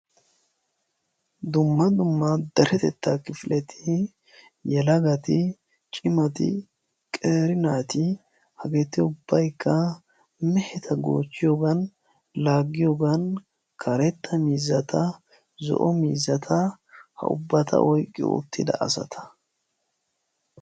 Dumma dumma deretettaa kifileti yelagati cimati qeeri naati hageeti ubbaykka meheta goochchiyoogan laaggiyoogan karetta miizzata zo'o miizzata ha ubbata oyqqidi uttida asata.